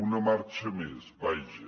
una marxa més vaja